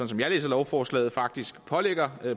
som jeg læser lovforslaget faktisk pålægger